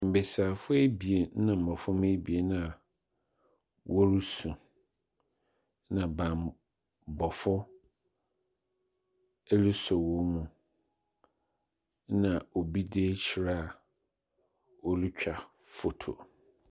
Mmesiafo ebien ena mmɔframa ebien ena woresu. Ena banbɔfo ɛle so wo mu ena obi dzi hyira ole twa foto.